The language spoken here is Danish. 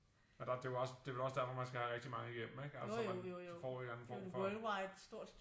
Og der det jo også det vel også derfor man skal have rigtig mange igennem ikke altså man så får I en eller anden form for